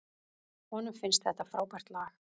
Honum finnst þetta frábært lag.